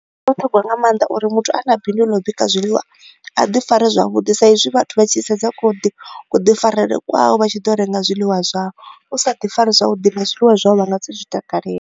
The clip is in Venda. Ndi zwa vhuṱhogwa nga maanḓa uri muthu a na bindu ḽa u bika zwiḽiwa, a ḓi fare zwavhuḓi sa i zwi vhathu vha tshi sedza ku ḓi ku ḓi farele kwawe, vha tshi ḓo renga zwiḽiwa zwawe. U sa ḓi fari zwavhuḓi, na zwiḽiwa zwau vha nga si zwi takalele.